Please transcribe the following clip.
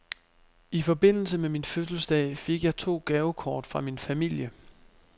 I forbindelse med min fødselsdag fik jeg to gavekort fra min familie.